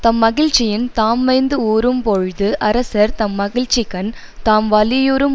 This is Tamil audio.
தம் மகிழ்ச்சியின் தாம் மைந்து ஊறும் போழ்து அரசர் தம் மகிழ்ச்சிக்கண் தாம் வலியுறும்